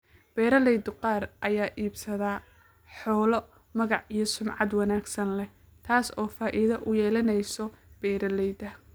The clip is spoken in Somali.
Beeralayda qaar ayaa iibsada xoolo magac iyo sumcad wanaagsan leh, taas oo faa�iido u yeelanaysa beeralayda.